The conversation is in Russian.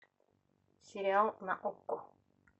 сериал на окко